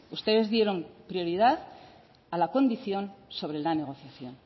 ustedes dieron prioridad a la condición sobre la negociación